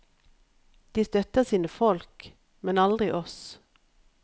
De støtter sine folk, men aldri oss.